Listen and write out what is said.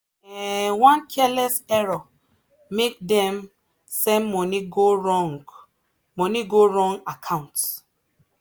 um one careless error make dem send money go wrong money go wrong account.